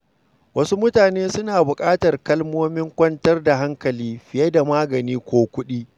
Wasu mutane suna buƙatar kalmomin kwantar da hankali fiye da magani ko kuɗi.